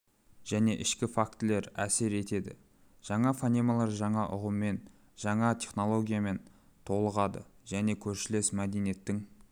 және ішкі фактілер әсер етеді жаңа фонемалар жаңа ұғымымен жаңа терминологиямен толығады және көршілес мәдениеттің